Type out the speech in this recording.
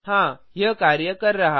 हाँ यह कार्य कर रहा है